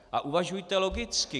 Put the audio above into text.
A uvažujte logicky.